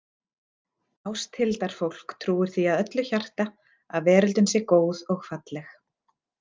Ásthildarfólk trúir því af öllu hjarta að veröldin sé góð og falleg.